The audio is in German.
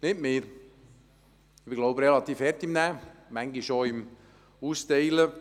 Nicht mir – ich glaube, ich bin relativ hart im Nehmen, manchmal auch im Austeilen;